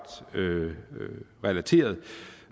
relaterede